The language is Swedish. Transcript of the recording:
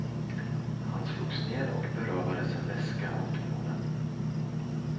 Han slogs ner och berövades en väska av två män.